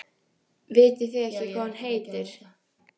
Kristín María: Vitið þið ekkert hvað hún heitir?